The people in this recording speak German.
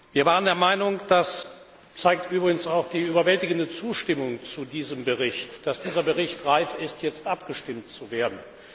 Wir waren der Meinung das zeigt übrigens auch die überwältigende Zustimmung zu diesem Bericht dass dieser Bericht reif ist, jetzt zur Abstimmung gestellt zu werden.